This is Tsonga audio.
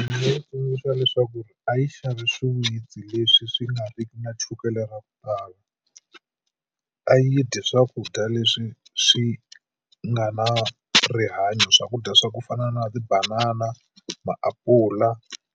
nga tsundzuxa leswaku ri a yi xavi swiwitsi leswi swi nga riki na chukele ra ku tala a yi dyi swakudya leswi swi nga na rihanyo swakudya swa ku fana na tibanana, maapula